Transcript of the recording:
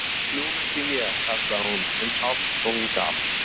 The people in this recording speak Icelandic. Nú kem ég, kallaði hún eins hátt og hún gat.